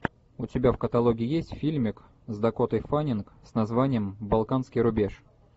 у тебя в каталоге есть фильмик с дакотой фаннинг с названием балканский рубеж